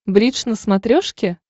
бридж на смотрешке